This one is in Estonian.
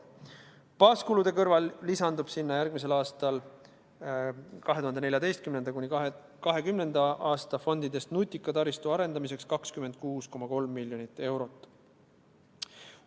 Baaskulude kõrval lisandub sinna järgmisel aastal 2014.–2020. aasta fondidest nutika taristu arendamiseks 26,3 miljonit eurot.